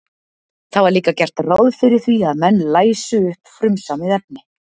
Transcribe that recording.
Það var líka gert ráð fyrir því að menn læsu upp frumsamið efni.